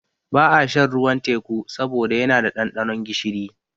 Ba a shan ruwan teƙu saboda yana da ɗanɗanon gishiri